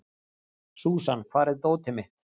Súsan, hvar er dótið mitt?